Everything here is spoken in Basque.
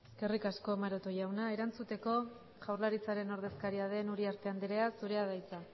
eskerrik asko maroto jauna erantzuteko jaurlaritzaren ordezkaria den uriarte andrea zurea da hitza